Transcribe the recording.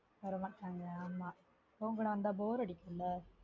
வர மாட்டாங்கலா ஆமா உன் கூட வந்தா bore அடிக்குல